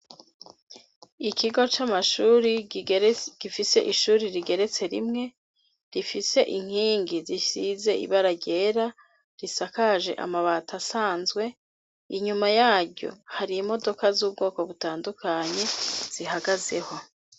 Ikigo c'amashuri gifise ishuri rigeretse rimwe rifise inkingi zisize ibara ryera risakaje amabati asanzwe inyuma yaryo hari imodoka z'ubwoko butandukanye zihagazeho.